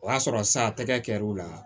O y'a sɔrɔ sa tɛgɛ kɛr'o la